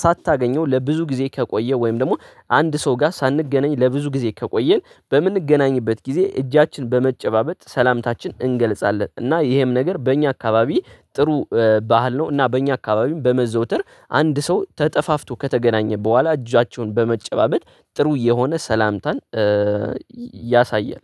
ሳታገኘው ለብዙ ጊዜ ከቆየ ወይም ደግሞ አንድ ሰው ጋር ሳንገናኝ ለብዙ ጊዜ ከቆየን፤ በምንገናኝበት ጊዜ እጃችን በመጨባበጥ፤ ሰላምታችን እንገልጻለን። እና ይሄም ነገር በእኛ አካባቢ ጥሩ ባህል ነው። እና በእኛ አካባቢም በመዘውተር አንድ ሰው ተጠፋፍቶ ከተገናኘ በኋላ፤ እጃቸውን በመጨባበጥ ጥሩ የሆነ ሰላምታን ያሳያል።